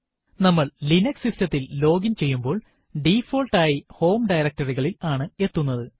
നമ്മൾ ലിനക്സ് സിസ്റ്റത്തിൽ ലോഗിൻ ചെയ്യുമ്പോൾ ഡിഫോൾട്ട് ആയി ഹോം directory ൽ ആണ് എത്തുന്നത്